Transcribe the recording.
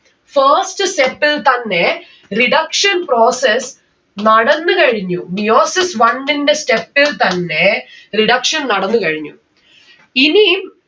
first step ൽ തന്നെ reduction process നടന്നു കഴിഞ്ഞു. meiosis one ന്റെ step ൽ തന്നെ reduction നടന്ന് കഴിഞ്ഞു. ഇനി